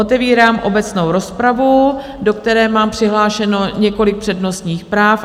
Otevírám obecnou rozpravu, do které mám přihlášeno několik přednostních práv.